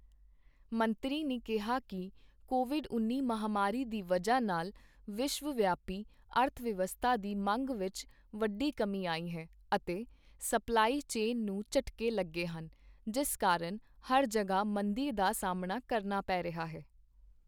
ਮੰਤਰੀ ਨੇ ਕਿਹਾ ਕਿ, ਕੋਵਿਡ ਉੱਨੀ ਮਹਾਮਾਰੀ ਦੀ ਵਜ੍ਹਾ ਨਾਲ ਵਿਸ਼ਵ-ਵਿਆਪੀ ਅਰਥ-ਵਿਵਸਥਾ ਦੀ ਮੰਗ ਵਿੱਚ ਵੱਡੀ ਕਮੀ ਆਈ ਹੈ, ਅਤੇ ਸਪਲਾਈ ਚੇਨ ਨੂੰ ਝਟਕੇ ਲੱਗੇ ਹਨ, ਜਿਸ ਕਾਰਨ ਹਰ ਜਗ੍ਹਾ ਮੰਦੀ ਦਾ ਸਾਹਮਣਾ ਕਰਨਾ ਪੈ ਰਿਹਾ ਹੈ।